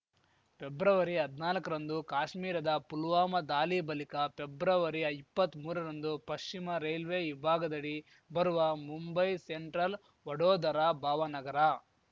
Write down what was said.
ಪೆಬ್ಬ್ರವರಿಹದ್ನಾಲ್ಕರಂದು ಕಾಶ್ಮೀರದ ಪುಲ್ವಾಮಾ ದಾಲಿ ಬಲಿಕ ಪೆಬ್ಬ್ರವರಿಇಪ್ಪತ್ಮೂರರಂದು ಪಶ್ಚಿಮ ರೈಲ್ವೆ ವಿಭಾಗದಡಿ ಬರುವ ಮುಂಬೈ ಸೆಂಟ್ರಲ್‌ ವಡೋದರಾ ಭಾವನಗರ